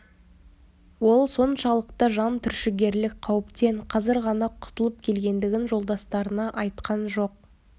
ол соншалықты жан түршігерлік қауіптен қазір ғана құтылып келгендігін жолдастарына айтқан жоқ